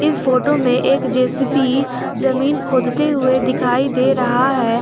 इस फोटो में एक जे_सी_बी जमीन खोदते हुए दिखाई दे रहा है।